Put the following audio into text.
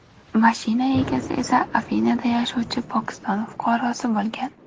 Mashina egasi esa Afinada yashovchi Pokiston fuqarosi bo‘lgan.